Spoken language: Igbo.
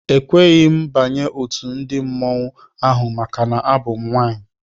Ekweghị m banye otu ndị mmanwụ ahụ maka abụ m nwaanyị.